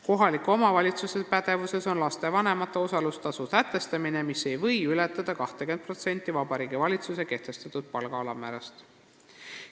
Kohaliku omavalitsuse pädevuses on lapsevanemate osalustasu sätestamine, mis ei või ületada 20% Vabariigi Valitsuse kehtestatud palga alammäärast.